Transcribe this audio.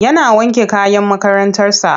Yana wanke kayan makarantarsa.